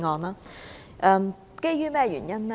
這是基於甚麼原因呢？